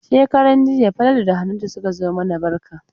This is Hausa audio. Shekaran jiya Falalu da Hannatu suka zo mana barka.